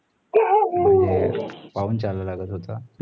म्हणजे पाऊल चलागत होत